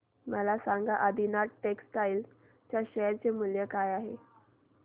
मला सांगा आदिनाथ टेक्स्टटाइल च्या शेअर चे मूल्य काय आहे